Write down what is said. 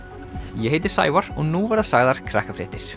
ég heiti Sævar og nú verða sagðar